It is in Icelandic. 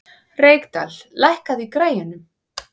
Reykdal, lækkaðu í græjunum.